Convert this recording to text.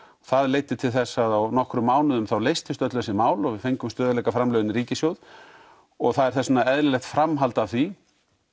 það leiddi til þess að á nokkrum mánuðum leystust öll þessi mál og við fengum stöðugleikaframlögin inn í ríkissjóð og það er þess vegna eðlilegt framhald af því